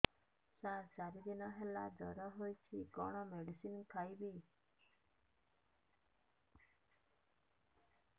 ସାର ଚାରି ଦିନ ହେଲା ଜ୍ଵର ହେଇଚି କଣ ମେଡିସିନ ଖାଇବି